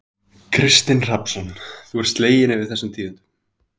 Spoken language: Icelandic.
Kristinn Hrafnsson: Þú ert slegin yfir þessum tíðindum?